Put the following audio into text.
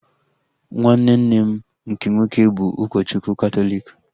Nwanne nne m nke nwoke bụ ụkọchukwu katọliki